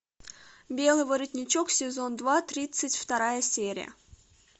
белый воротничок сезон два тридцать вторая серия